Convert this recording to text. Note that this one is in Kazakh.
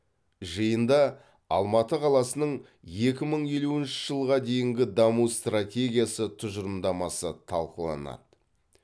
жиында алматы қаласының екі мың елуінші жылға дейінгі даму стратегиясы тұжырымдамасы талқыланады